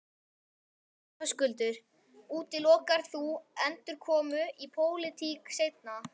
Höskuldur: Útilokar þú endurkomu í pólitík seinna?